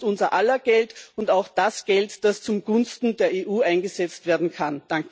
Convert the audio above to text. Es ist unser aller Geld und auch das Geld, das zugunsten der EU eingesetzt werden kann.